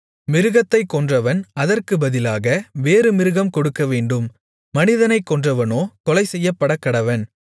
மிருகத்தைக் கொன்றவன் அதற்கு பதிலாக வேறு மிருகம் கொடுக்கவேண்டும் மனிதனைக் கொன்றவனோ கொலைசெய்யப்படக்கடவன்